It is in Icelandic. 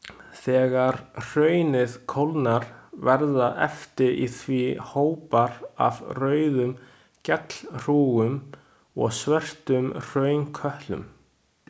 Þegar hraunið kólnar verða eftir í því hópar af rauðum gjallhrúgum og svörtum hraunkötlum.